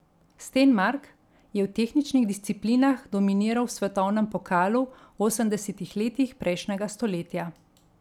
Stenmark je v tehničnih disciplinah dominiral v svetovnem pokalu v osemdesetih letih prejšnjega stoletja.